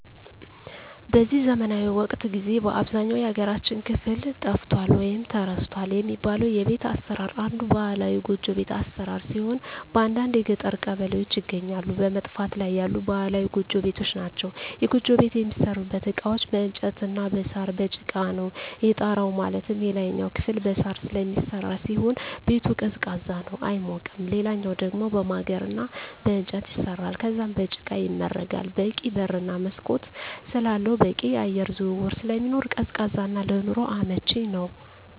በዚህ ዘመናዊ ወቅት ጊዜ በአብዛኛው የሀገራችን ክፍል ጠፍቷል ወይም ተረስቷል የሚባለው የቤት አሰራር አንዱ ባህላዊ ጎጆ ቤት አሰራር ሲሆን በአንዳንድ የገጠር ቀበሌዎች ይገኛሉ በመጥፋት ላይ ያሉ ባህላዊ ጎጆ ቤቶች ናቸዉ። የጎጆ ቤት የሚሠሩበት እቃዎች በእንጨት እና በሳር፣ በጭቃ ነው። የጣራው ማለትም የላይኛው ክፍል በሳር ስለሚሰራ ሲሆን ቤቱ ቀዝቃዛ ነው አይሞቅም ሌላኛው ደሞ በማገር እና በእንጨት ይሰራል ከዛም በጭቃ ይመረጋል በቂ በር እና መስኮት ስላለው በቂ የአየር ዝውውር ስለሚኖር ቀዝቃዛ እና ለኑሮ አመቺ ነው።